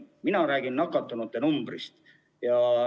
Mina räägin nakatunute arvust.